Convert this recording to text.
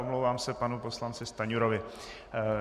Omlouvám se panu poslanci Stanjurovi.